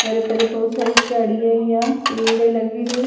ਪਰ੍ਹੇ ਪਰ੍ਹੇ ਬਹੁਤ ਸਾਰੀ ਝਾੜੀ ਆਈ ਆ ਪੇੜ ਲਗ ਰਹੀ ਆ।